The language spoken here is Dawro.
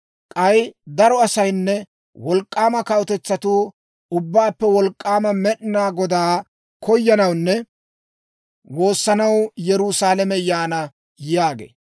K'ay daro asaynne wolk'k'aama kawutetsatuu Ubbaappe Wolk'k'aama Med'inaa Godaa koyanawunne woossanaw Yerusaalame yaana› yaagee.